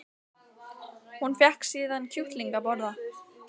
Hún fékk síðan kjúkling að borða